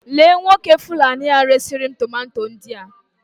Lee Nwoke Fulani a resi ri'm tomato ndia